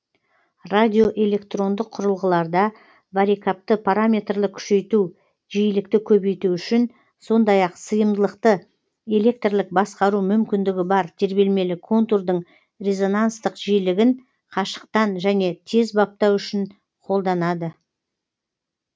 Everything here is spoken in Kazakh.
радиоэлектрондық құрылғыларда варикапты параметрлік күшейту жиілікті көбейту үшін сондай ақ сыйымдылықты электрлік басқару мүмкіндігі бар тербелмелі контурдың резонансттық жиілігін қашықтан жөне тез баптау үшін қолданады